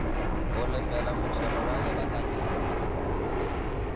go lefela motšhelo wa lebakanyana